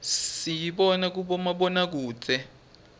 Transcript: siyibona kubomabonakudze